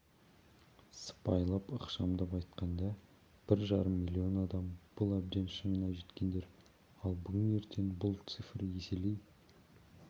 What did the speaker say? сыпайылап ықшамдап айтқанда бір жарым миллион адам бұл әбден шыңына жеткендер ал бүгін-ертең бұл цифр еселей